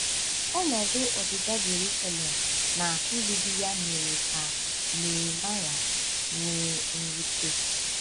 Ọnọdụ ọdịda Jerusalem na mgbidi ya mere ka Neemaya nwee mwute.